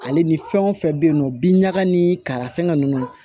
Ale ni fɛn wo fɛn be yen nɔ bin ɲaga ni kara fɛngɛ ninnu